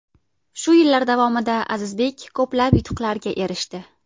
Shu yillar davomida Azizbek ko‘plab yutuqlarga erishdi.